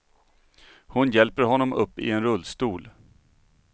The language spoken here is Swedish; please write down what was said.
Hon hjälper honom upp i en rullstol.